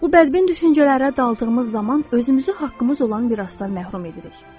Bu bədbin düşüncələrə daldığımız zaman özümüzü haqqımız olan mirasdan məhrum edirik.